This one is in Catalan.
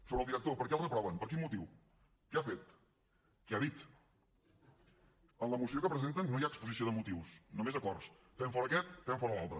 sobre el director per què el reproven per quin motiu què ha fet què ha dit en la moció que presenten no hi ha exposició de motius només acords fem fora aquest fem fora l’altre